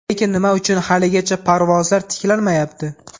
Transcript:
Lekin nima uchun haligacha parvozlar tiklanmayapti?.